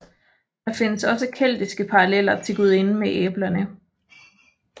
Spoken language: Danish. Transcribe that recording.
Der findes også keltiske paralleller til gudinden med æblerne